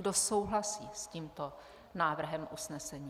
Kdo souhlasí s tímto návrhem usnesení?